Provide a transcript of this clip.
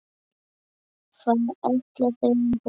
Hvað ætla þau að borða?